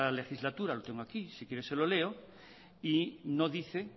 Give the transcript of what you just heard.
legislatura lo tengo aquí si quiere se lo leo y no dice